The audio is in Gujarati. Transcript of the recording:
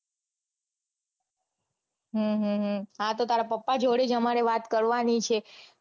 હમ હમ હમ હતો તારા પપ્પા જોડે જ અમારે વાત કરવાની છે.